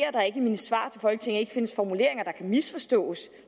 at der ikke i mine svar til folketinget findes formuleringer der kan misforstås